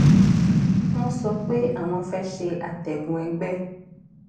wón sọ pé àwọn fé se àtègùn egbé